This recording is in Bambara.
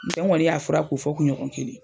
ŋoni y'a fura ko fɔ kuɲɔgɔn kelen.